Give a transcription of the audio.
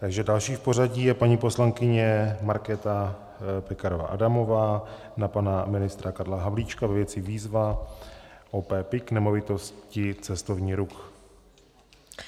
Takže další v pořadí je paní poslankyně Markéta Pekarová Adamová na pana ministra Karla Havlíčka ve věci Výzva OP PIK "Nemovitosti - Cestovní ruch".